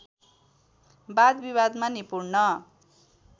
वादविवादमा निपूर्ण